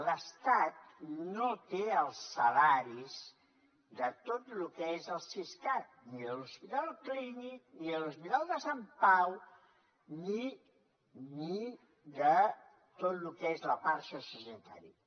l’estat no té els salaris de tot lo que és el siscat ni de l’hospital clínic ni de l’hospital de sant pau ni de tot lo que és la part sociosanitària